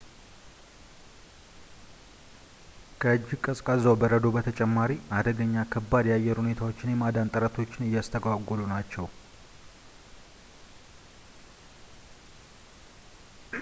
ከእጅግ ቀዝቅዛው በረዶው በተጨማሪ አደገኛ ከባድ የአየር ሁኔታዎች የማዳን ጥረቶችን እያስተጓጎሉ ናቸው